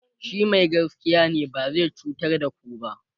shi Mai gaskiya ne ba zai cutar da ku ba